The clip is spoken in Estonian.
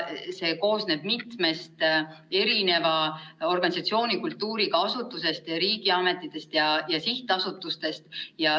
See koosneb mitmest organisatsioonikultuuriga asutusest, riigiametitest ja sihtasutustest.